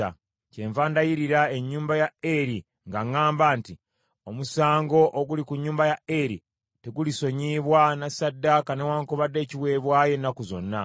Kyenva ndayirira ennyumba ya Eri nga ŋŋamba nti, ‘Omusango oguli ku nnyumba ya Eri tegulisonyiyibwa na ssaddaaka newaakubadde ekiweebwayo ennaku zonna.’ ”